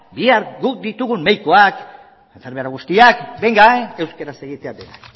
bihar guk ditugun medikuak enfermera guztiak euskaraz egitea